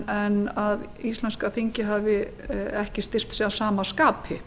en íslenska þingið hafi ekki styrkt sig að sama skapi